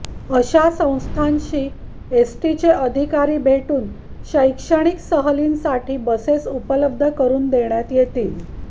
अशा संस्थांशी एसटीचे अधिकारी भेटून शैक्षणिक सहलींसाठी बसेस उपलब्ध करून देण्यात येतील